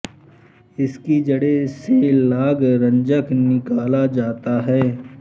इसकी जड़ों से लाग रंजक निकाला जाता है